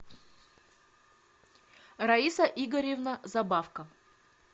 раиса игоревна забавко